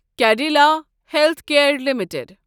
Cadila healthcare limited